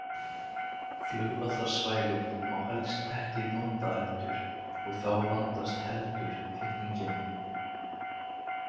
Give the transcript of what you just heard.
Flugvallarsvæðið má helst ekki nota heldur og þá vandast heldur þéttingin.